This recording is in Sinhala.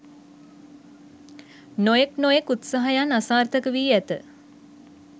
නොයෙක් නොයෙක් උත්සාහයන් අසාර්ථක වී ඇත